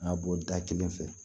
A ka bɔ da kelen fɛ